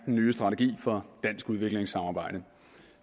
en ny strategi for dansk udviklingssamarbejde